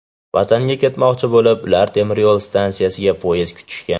Vatanga ketmoqchi bo‘lib, ular temiryo‘l stansiyasida poyezd kutishgan.